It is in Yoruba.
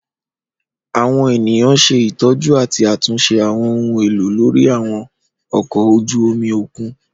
Àwọn eniyan ṣe itọju ati atunṣe àwọn ohun elo lori àwọn ọkọ oju omi okun.